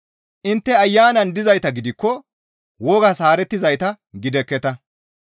Intte Ayanan dizayta gidikko wogas haarettizayta gidekketa.